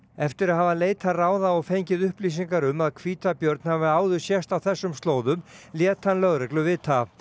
eftir að hafa leitað ráða og fengið upplýsingar um að hvítabjörn hafi áður sést á þessum slóðum lét hann lögreglu vita